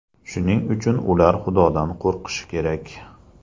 Shuning uchun ular Xudodan qo‘rqishi kerak.